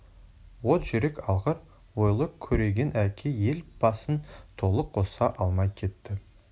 от жүрек алғыр ойлы көреген әке ел басын толық қоса алмай кетті